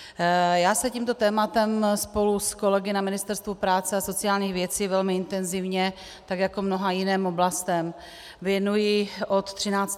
Já se tímto tématem spolu s kolegy na Ministerstvu práce a sociálních věcí velmi intenzivně, tak jako mnoha jiným oblastem, věnuji od 13. prosince.